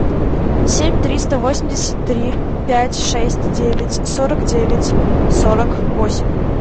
семь триста восемьдесят три пять шесть девять сорок девять сорок восемь